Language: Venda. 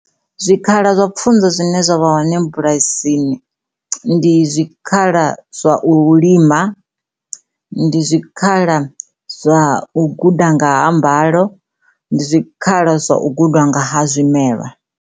zwikhala zwa pfunzo zwine zwa kwama bulasini ndi zwikhala zwa mulima ndi zwikhala zwa ngoḓaho mbalo ndi zwikhala zwanga ha zwimela